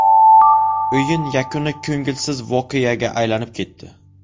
O‘yin yakuni ko‘ngilsiz voqeaga aylanib ketdi.